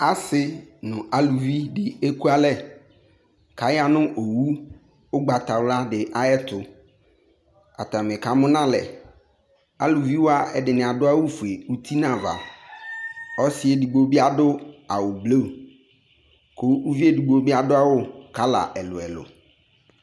Ase no aluvi de ekualɛ ka ya no awu ugbatawla de ayeto Atame ka mu no alɛ Aluviwa ɛdene ado awufue uti no ava Ɔse edigbo be ado awu blu ko ubvi edigbo be ado awu kala ɛluɛlu